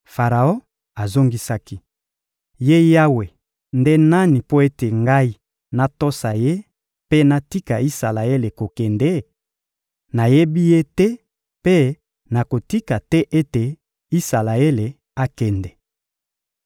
Faraon azongisaki: — Ye Yawe nde nani mpo ete ngai natosa ye mpe natika Isalaele kokende? Nayebi ye te mpe nakotika te ete Isalaele akende.